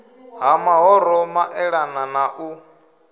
ha mahoro maelana na u